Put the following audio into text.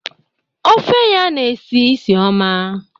Ofe ya na-esi isi ọma.